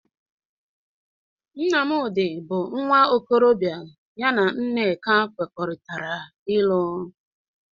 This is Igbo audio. Nnamdị bụ nwa okorọbịa ya na Nneka kwekọrịtara ịlụ.